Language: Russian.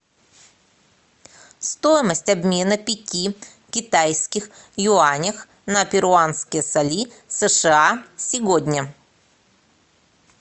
стоимость обмена пяти китайских юанях на перуанские соли сша сегодня